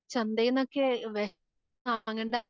ചന്തെനെക്കെ വേ, വാങ്ങണ്ട.